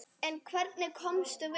En hvernig komumst við?